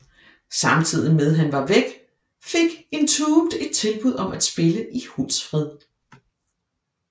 Samtidig med han var væk fik Entombed et tilbud om at spille i Hultsfred